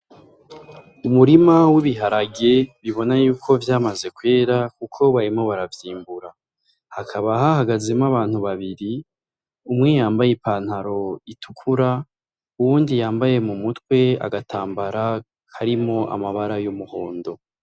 Umurima w’ibiharage ubona yuko vyamaze kwera Kuko bariko baravyimbura , hakaba hahagazemwo abantu babiri umwe yambaye i pantaro itukura uyundi yambaye agatambara karimwo amabara y’umuhondo.